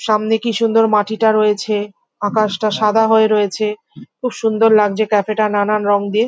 সামনে কি সুন্দর মাটি তা রয়েছে। আকাশ টা সাদা হয়ে রয়েছে। খুব সুন্দর লাগছে ক্যাফে টা নানান রং দিয়ে।